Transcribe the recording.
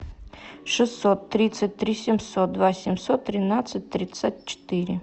шестьсот тридцать три семьсот два семьсот тринадцать тридцать четыре